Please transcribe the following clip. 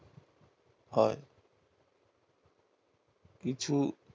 হয় কিছু